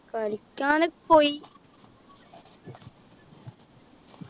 കളിക്കാനൊക്കെ പോയി